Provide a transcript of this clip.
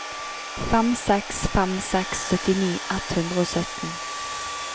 fem seks fem seks syttini ett hundre og sytten